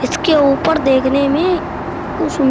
इसके ऊपर देखने मे उ सुन --